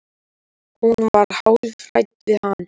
Hún var hálf hrædd við hann.